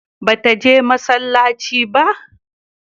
Ba ta je masallaci ba?